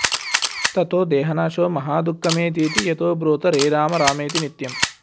ततो देहनाशे महादुःखमेतीति यतो ब्रूत रे रामरामेति नित्यम्